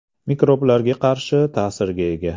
Mikroblarga qarshi ta’sirga ega.